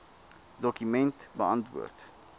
dokument beantwoord